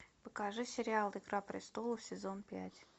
покажи сериал игра престолов сезон пять